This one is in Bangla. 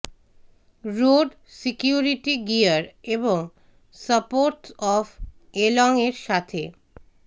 রোড সিকিউরিটি গিয়ার এবং সাপোর্টস অফ এলোং এর সাথে